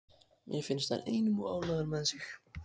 Mér finnst hann einum of ánægður með sig.